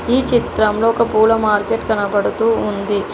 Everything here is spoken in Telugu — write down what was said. ఈ చిత్రంలో ఒక పూల మార్కెట్ కనబడుతూ ఉంది.